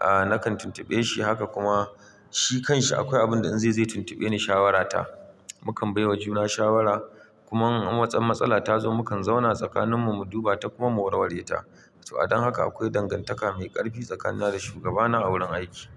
a nakan tuntube shi haka kuma shi kanshi akwai abin da in zai yi tuntube ni shawara ta. Mu kam baiwa juna shawara kuma in wata matsala ta zo mukan zauna tsakaninmu mu duba ta kuma mu warware ta. To a dan haka akwai dangantaka mai ƙarfi tsakanina da shugabana a wurin aiki.